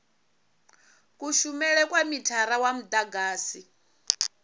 kushumele kwa mithara wa mudagasi